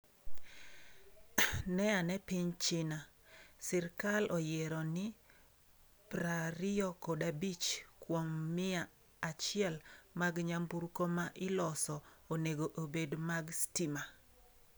Ne ane piny China, sirkal noyiero ni prariyokodabich kuom mia achiel mag nyamburko ma iloso onego obed mag stima.